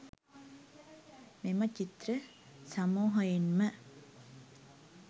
මෙම චිත්‍ර සමූහයෙන්ම